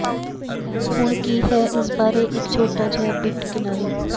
ਹੁਣ ਕੀ ਹੈ ਇਸ ਬਾਰੇ ਇੱਕ ਛੋਟਾ ਜਿਹਾ ਬਿੱਟ ਕਿਨਾਰੀ